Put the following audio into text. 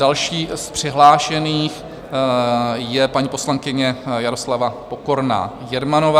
Další z přihlášených je paní poslankyně Jaroslava Pokorná Jermanová.